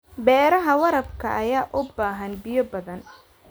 Beeraha waraabka ayaa u baahan biyo badan.